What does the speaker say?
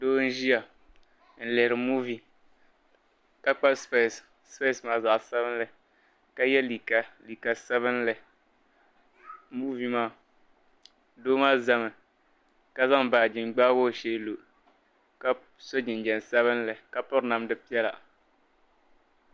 Doo n-ʒiya n-lihiri "movie" ka kpa specks specks maa zaɣ'sabinli ka ye liiga liiga sabinli "movie" maa doo maa zami ka zaŋ baaji n-gbaai o shee lo ka so jinjam sabinli ka piri namda piɛla.